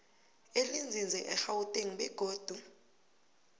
elinzinze egauteng begodu